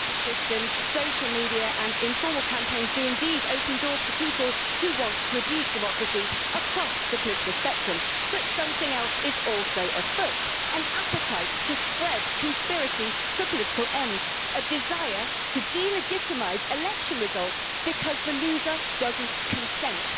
Mr President, online payment systems, social media and informal campaigns do indeed open doors to people who want to abuse democracy across the political spectrum, but something else is also afoot an appetite to spread conspiracy for political ends and a desire to delegitimise election results because the loser doesn't consent.